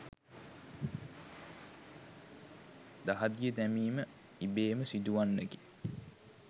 දහදිය දැමීම ඉබේම සිදුවන්නකි.